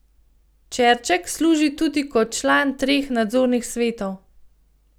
Čerček služi tudi kot član treh nadzornih svetov.